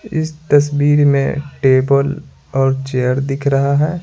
इस तस्वीर में टेबल और चेयर दिख रहा है।